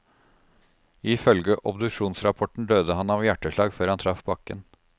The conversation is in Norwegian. I følge obduksjonsrapporten døde han av hjertslag før han traff bakken.